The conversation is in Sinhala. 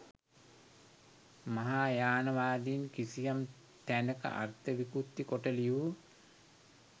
මහායානවාදීන් කිසියම් තැනක අර්ථ විකෘති කොට ලියූ